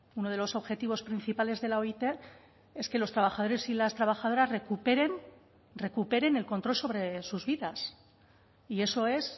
uno de los objetivos principales de la oit es que los trabajadores y las trabajadoras recuperen recuperen el control sobre sus vidas y eso es